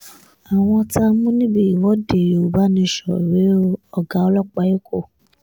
àwọn táa mú níbi ìwọ́de yorùbá nation rèé o ọ̀gá ọlọ́pàá èkó